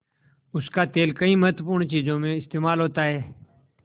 उसका तेल कई महत्वपूर्ण चीज़ों में इस्तेमाल होता है